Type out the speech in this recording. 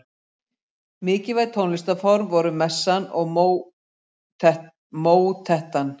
Mikilvæg tónlistarform voru messan og mótettan.